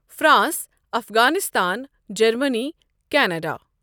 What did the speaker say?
France, Afghanistan, Germany, Canada.